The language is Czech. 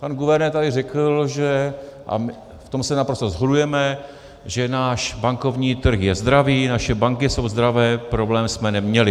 Pan guvernér tady řekl, a v tom se naprosto shodujeme - že náš bankovní trh je zdravý, naše banky jsou zdravé, problém jsme neměli.